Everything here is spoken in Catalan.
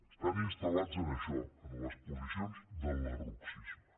estan instal·lats en això en les posiciones del lerrouxisme